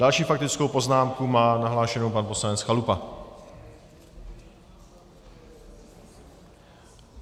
Další faktickou poznámku má nahlášenou pan poslanec Chalupa.